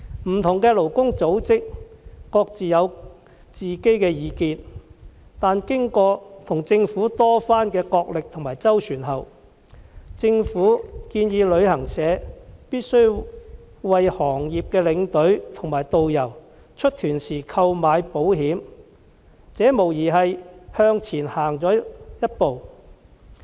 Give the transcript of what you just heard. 不同的勞工組織各有自見，但經過與政府的多番角力和周旋後，政府建議旅行社必須為行業的領隊和導遊於出團時購買保險，無疑是向前走了一步。